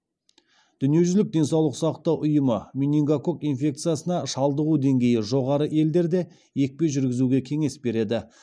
дүниежүзілік денсаулық сақтау ұйымы менингококк инфекциясына шалдығу деңгейі жоғары елдерде екпе жүргізуге кеңес береді